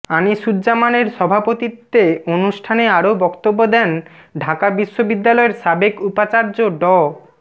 আনিসুজ্জামানের সভাপতিত্বে অনুষ্ঠানে আরও বক্তব্য দেন ঢাকা বিশ্ববিদ্যালয়ের সাবেক উপাচার্য ড